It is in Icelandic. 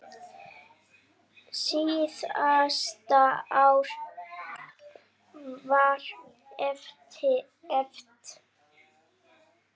Síðasta ár var erfitt.